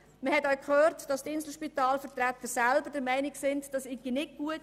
Man hat auch gehört, dass die Vertreter des Inselspitals selber der Meinung sind, dies sei nicht gut.